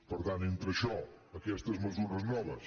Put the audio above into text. per tant entre això aquestes mesures noves